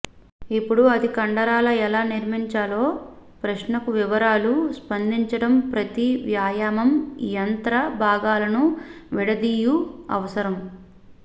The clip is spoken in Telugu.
ఇప్పుడు అది కండరాల ఎలా నిర్మించాలో ప్రశ్నకు వివరాలు స్పందించడం ప్రతి వ్యాయామం యంత్ర భాగాలను విడదీయు అవసరం